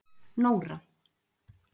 Nóra